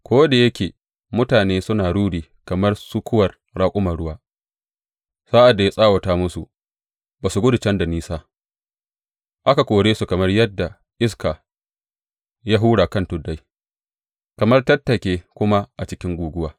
Ko da yake mutane suna ruri kamar sukuwar raƙuman ruwa, sa’ad da ya tsawata musu za su gudu can da nisa, aka kore su kamar yayinda iska ya hura a kan tuddai, kamar tattake kuma a cikin guguwa.